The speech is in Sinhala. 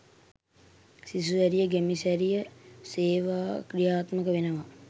සිසු සැරිය ගැමි සැරිය සේවා ක්‍රියාත්මක වෙනවා